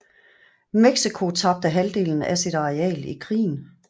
Mexico tabte halvdelen af sit areal i krigen